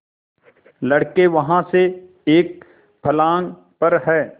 लड़के वहाँ से एक फर्लांग पर हैं